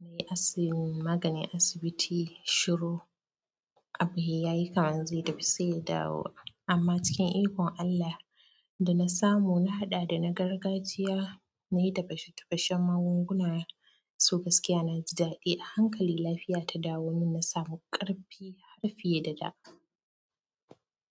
Na yi asin maganin asibiti shiro. Abu he yayi kaman zai tafi sai ya dawo. Amma cikin ikon Allah, da na samu, na haɗa da na gargajiya, na yi tafashe-tafashen magunguna so gaskiya na ji daɗi. A hankali lafiya ta dawo. Min na samu ƙarfi har fiye da da.